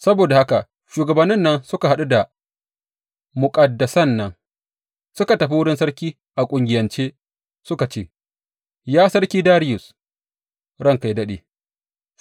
Saboda haka shugabannin nan suka haɗu da muƙaddasan nan suka tafi wurin sarki a ƙungiyance suka ce, Ya Sarki Dariyus, ranka yă daɗe!